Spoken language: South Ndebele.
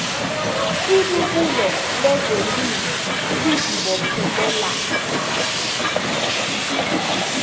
ibubulo lezelimo lizibophelela